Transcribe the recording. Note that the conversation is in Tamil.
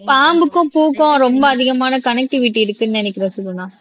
பாம்புக்கும் பூக்கும் ரொம்ப அதிகமான கணேகிட்டிவிட்டி இருக்குன்னு நினைக்கிறேன் சுகுணா